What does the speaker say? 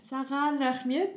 саған рахмет